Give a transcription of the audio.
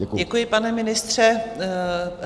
Děkuji, pane ministře.